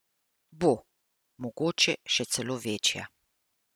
Bo, mogoče je še celo večja.